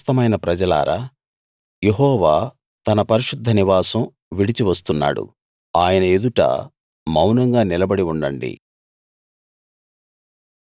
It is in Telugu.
సమస్తమైన ప్రజలారా యెహోవా తన పరిశుద్ధ నివాసం విడిచి వస్తున్నాడు ఆయన ఎదుట మౌనంగా నిలబడి ఉండండి